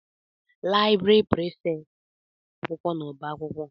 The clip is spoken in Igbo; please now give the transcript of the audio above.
Laịbrị Prịfèkt na-ahazi akwụkwọ n'ọba akwụkwọ.